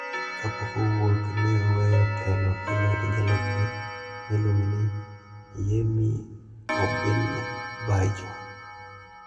Kapok owuok, ne oweyo telo e lwet jalupne ma iluongo ni Yemi Osinbajo.